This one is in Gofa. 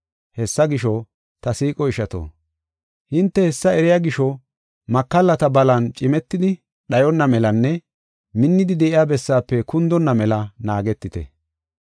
Hessa gisho, ta siiqo ishato, hinte hessa eriya gisho makallata balan cimetidi, dhayonna melanne minnidi de7iya bessaafe kundonna mela naagetite.